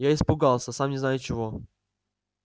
я испугался сам не зная чего